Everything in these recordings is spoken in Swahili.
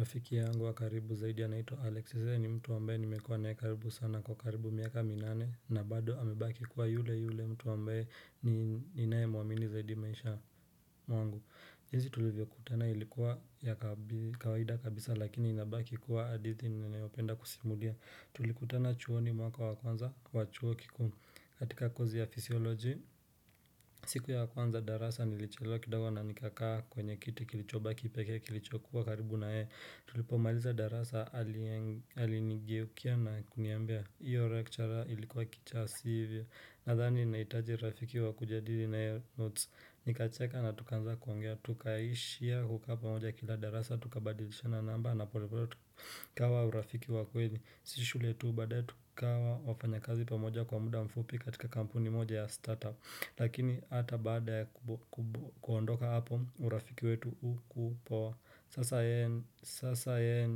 Rafiki yangu wa karibu zaidi anaitwa Alex. Yeye ni mtu ambaye nimekuwa naye karibu sana kwa karibu miaka minane na bado amebaki kuwa yule yule mtu ambaye ninayemwamini zaidi maisha mwangu. Jinsi tulivyokutana ilikuwa ya kawaida kabisa lakini inabaki kuwa hadithi ninayopenda kusimulia Tulikutana chuoni mwaka wa kwanza wa chuo kikuu katika kozi ya physiology, siku ya kuanza darasa nilichelewa kidogo na nikakaa kwenye kiti kilichobaki pekee kilichokuwa karibu na yeye. Tulipomaliza darasa alinigeukia na kuniambia. Hiyo lecturer ilikuwa kichaa, sivyo? Nadhani nahitaji rafiki wa kujadili naye notes. Nikacheka na tukaanza kuongea tukaishia kukaa pamoja kila darasa tukabadilishana namba na polepole tukawa urafiki wa kweli. Si shule tu baadaye tukawa wafanyakazi pamoja kwa muda mfupi katika kampuni moja ya startup. Lakini hata baada ya kuondoka hapo urafiki wetu hukupoa. Sasa yeye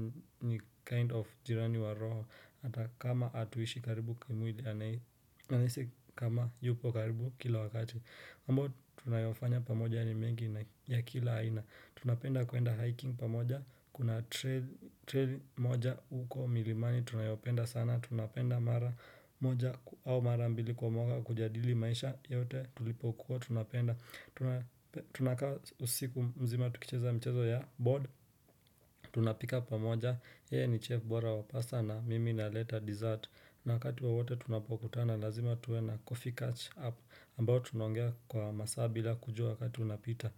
ni kind of jirani wa roho hata kama hatuishi karibu kimwili nahisi kama yupo karibu kila wakati mambo tunayofanya pamoja ya ni mengi na ya kila aina. Tunapenda kuenda hiking pamoja, kuna trail moja huko milimani, tunayopenda sana. Tunapenda mara moja au mara mbili kwa moka kujadili maisha yote tulipokuwa, tunapenda Tunakaa usiku mzima tukicheza mchezo ya board, tunapika pamoja. Yeye ni chef bora wa pasta na mimi naleta dessert. Na wakati wowote tunapokutana, lazima tuwe na coffee catch up ambao tunaongea kwa masaa bila kujua wakati unapita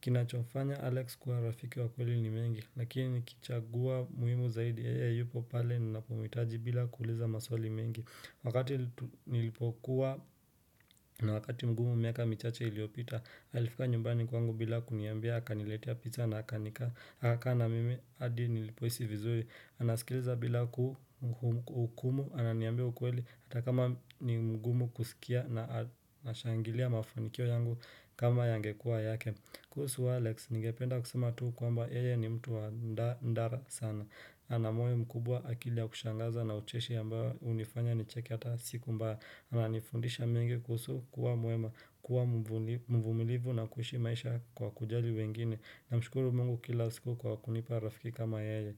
Kinachomfanya Alex kuwa rafiki wa kweli ni mengi. Lakini nikichagua muhimu zaidi yeye yupo pale ninapomhitaji bila kuuliza maswali mengi. Wakati nilipokuwa na wakati mgumu miaka michache iliyopita Alifika nyumbani kwangu bila kuniambia akaniletea pizza na aka nikaa. Akakaa na mimi hadi nilipohisi vizuri. Anasikiliza bila hukumu ananiambia ukweli Hata kama ni mgumu kusikia na ashangilia mafanikio yangu kama yangekuwa yake. Kuhusu Alex, ningependa kusema tu kwamba yeye ni mtu wa ndara sana. Ana moyo mkubwa, akili ya kushangaza na ucheshi ambao hunifanya nicheke hata siku mbaya. Ananifundisha mengi kuhusu kuwa mwema, kuwa mvumilivu na kuishi maisha kwa kujali wengine. Namshukuru Mungu kila siku kwa kunipa rafiki kama yeye.